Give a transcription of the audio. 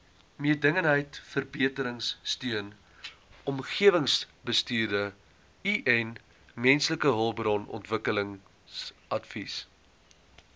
mededingendheidsverbeteringsteun omgewingsbestuursteun mensehulpbronontwikkelingsadvies